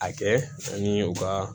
A kɛ ani u ka